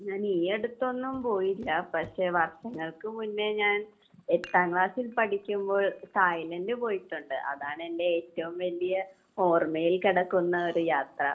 ഞാൻ ഈ അടുത്തൊന്നും പോയില്ല. പക്ഷെ വർഷങ്ങൾക്ക് മുന്നേ ഞാൻ എട്ടാം ക്ലാസ്സിൽ പഠിക്കുമ്പോൾ തായ്‌ലാൻഡിൽ പോയിട്ടുണ്ട്. അതാണ് എന്റെ ഏറ്റവും വലിയ ഓർമയിൽ കിടക്കുന്ന ഒരു യാത്ര.